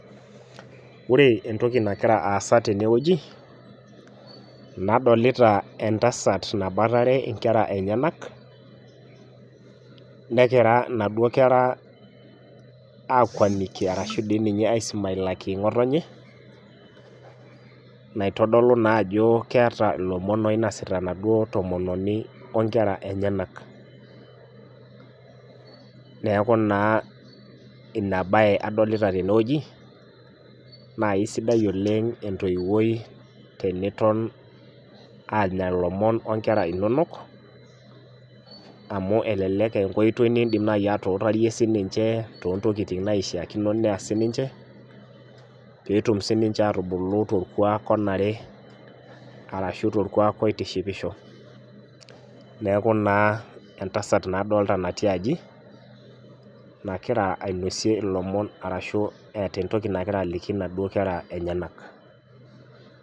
Wore entoki nakira aasa tene wueji, nadolita entasat naboitare inkera enyanak. Nekira inaduo kera aakuaniki arashu dii ninye aisumailaki ngotonye, naitodolu naa ajo keeta ilomon oinasita enaduo tomononi onkera enyanak. Neeku naa ina baye adolita tene wueji, naa aisidai oleng' entoiwoi teniton aanya ilomon onkera inonok, amu elelek aa enkoitoi niidim atuutarie sininche toontokiting naishiakino neas sininche, peetum sininche atubulu torkuak onare arashu torkuak oitishipisho. Neeku naa entasat naa adolita natii aji, nakira ainosie ilomon arashu eata entoki nakira aliki inaduo kera enyanak.